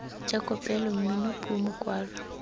ja kopelo mmino puo mokwalo